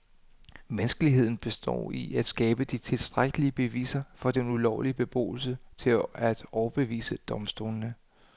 Vanskeligheden består i at skabe de tilstrækkelige beviser for den ulovlige beboelse til at overbevise domstolene.